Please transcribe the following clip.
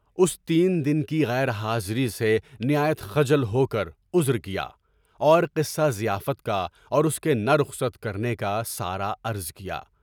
اس نئی دن کی غیر حاضری سے نہایت خجل ہو کر عذر کیا، اور قصہ ضیافت کا اور اُس کے نہ رخصت کرنے کا سارا عرض کیا۔